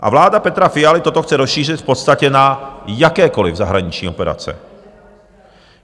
A vláda Petra Fialy toto chce rozšířit v podstatě na jakékoliv zahraniční operace.